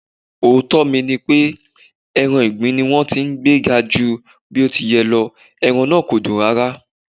Òótọ́ mi nipé, ẹran ìgbín ni wón ti gbé ga ju bó ti yẹ lọ, ẹran na kòdùn rárá.